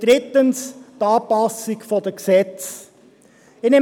drittens: die Anpassung der Gesetze.